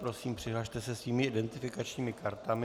Prosím, přihlaste se svými identifikačními kartami.